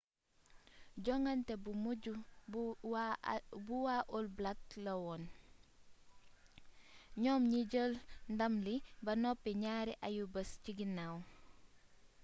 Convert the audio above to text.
jongante bu mujj bu waa all blacks lawoon ñoom ñi jël ndàm li ba noppi ñaari ayu-bis ci ginnaw